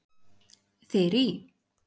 Þyrí